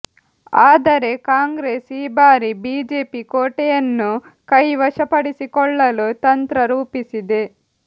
ಆದರೆ ಕಾಂಗ್ರೆಸ್ ಈ ಬಾರಿ ಬಿಜೆಪಿ ಕೋಟೆಯನ್ನು ಕೈ ವಶಪಡಿಸಿಕೊಳ್ಳಲು ತಂತ್ರ ರೂಪಿಸಿದೆ